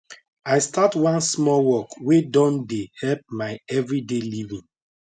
i start one small work way don dey help my everyday living